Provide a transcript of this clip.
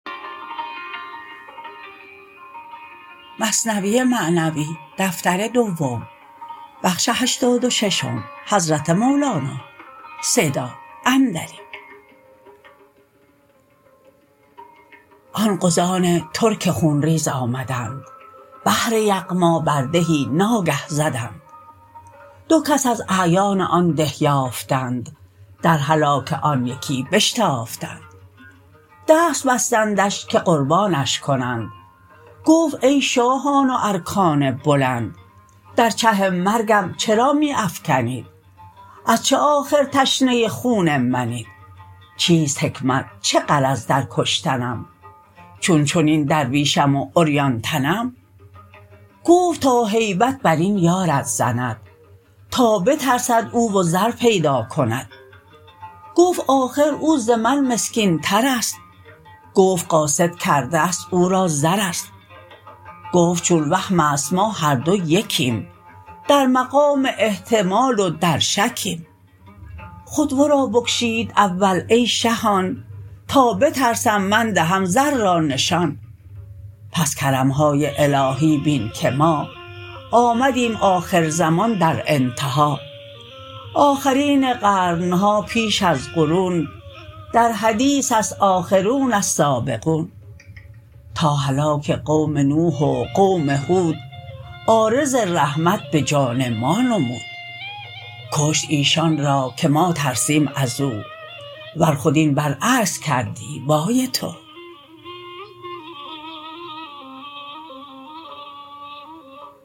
آن غزان ترک خون ریز آمدند بهر یغما بر دهی ناگه زدند دو کس از اعیان آن ده یافتند در هلاک آن یکی بشتافتند دست بستندش که قربانش کنند گفت ای شاهان و ارکان بلند در چه مرگم چرا می افکنید از چه آخر تشنه خون منید چیست حکمت چه غرض در کشتنم چون چنین درویشم و عریان تنم گفت تا هیبت برین یارت زند تا بترسد او و زر پیدا کند گفت آخر او ز من مسکین ترست گفت قاصد کرده است او را زرست گفت چون وهمست ما هر دو یکیم در مقام احتمال و در شکیم خود ورا بکشید اول ای شهان تا بترسم من دهم زر را نشان پس کرمهای الهی بین که ما آمدیم آخر زمان در انتها آخرین قرنها پیش از قرون در حدیثست آخرون السابقون تا هلاک قوم نوح و قوم هود عارض رحمت بجان ما نمود کشت ایشان را که ما ترسیم ازو ور خود این بر عکس کردی وای تو